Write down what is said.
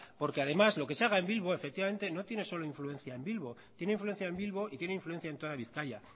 porque además lo que se haga en bilbo efectivamente no tiene solo influencia en bilbo tiene influencia en bilbo y tiene influencia en toda bizkaia